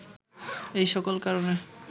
এই সকল কারণে